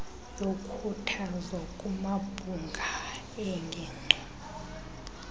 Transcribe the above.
yokhuthazo kumabhunga eengingqi